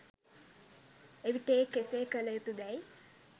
එවිට ඒ කෙසේ කළ යුතු දැයි